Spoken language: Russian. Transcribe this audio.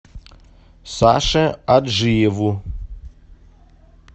саше аджиеву